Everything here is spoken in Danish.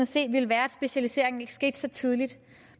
se ville være at specialiseringen ikke skete så tidligt